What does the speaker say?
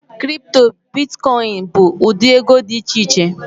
Kịrịpụtọ, bịtịkọyịnị bu ụdị ego di icheiche